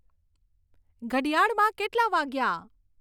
ઘડિયાળમાં કેટલાં વાગ્યાં